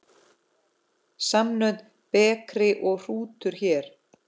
Samnöfn bekri og hrútur hér.